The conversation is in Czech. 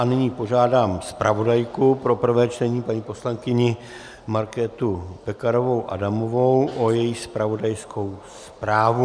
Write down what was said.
A nyní požádám zpravodajku pro prvé čtení paní poslankyni Markétu Pekarovou Adamovou o její zpravodajskou zprávu.